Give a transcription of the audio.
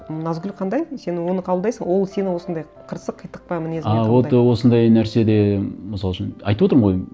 м назгүл қандай сен оны қабылдайсың ол сені осындай қырсық қитықпа мінезіңмен қабылдайды а вот осындай нәрседе мысал үшін айтып отырмын ғой